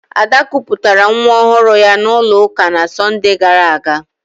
Ada kụpụtara nwa ọhụrụ ya n'ụlọ ụka n'Sọnde gara aga